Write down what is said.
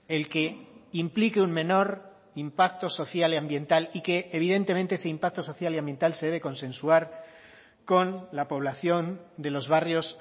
el que implique un menor impacto social y ambiental y que evidentemente ese impacto social y ambiental se debe consensuar con la población de los barrios